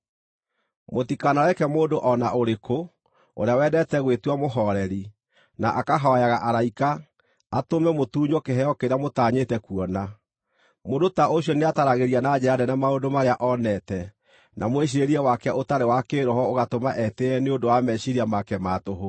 Mũtikanareke mũndũ o na ũrĩkũ, ũrĩa wendete gwĩtua mũhooreri, na akahooyaga araika, atũme mũtunywo kĩheo kĩrĩa mũtanyĩte kuona. Mũndũ ta ũcio nĩataaragĩria na njĩra nene maũndũ marĩa onete, na mwĩciirĩrie wake ũtarĩ wa kĩĩroho ũgatũma etĩĩe nĩ ũndũ wa meciiria make ma tũhũ.